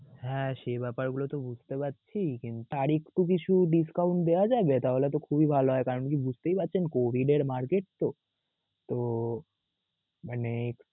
হ্যা সে ব্যাপার গুলো তো বুঝতে পারছি, কি আরেকটু কিছু discount দেওয়া যাবে তাহলে তো খুবই ভালো হয়. কারণ কি বুঝতেই পারছেন COVID এর market তো তো মানে